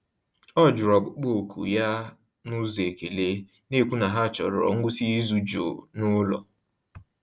Ọ jụrụ ọkpụkpọ oku ya n’ụzọ ekele, na-ekwu na ha chọrọ ngwụsị izu jụụ n'ụlọ.